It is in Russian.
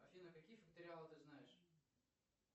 афина какие факториалы ты знаешь